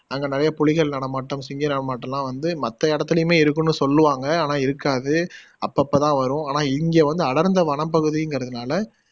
அங்க நிறைய புலிகள் நடமாட்டம், சிங்க நடமாட்டம்லாம் வந்து மத்த இடத்துலையுமே இருக்குன்னு சொல்லுவாங்க ஆனா இருக்காது அப்பப்ப தான் வரும் ஆனா இங்க வந்து அடர்ந்த வனப்பகுதிங்குறதுனால்